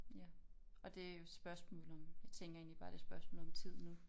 Ja og det er jo spørgsmål om jeg tænker egentlig bare det er et spørgsmål om tid nu